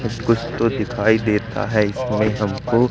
कुछ कुछ तो दिखाई देता है इसमें हमको--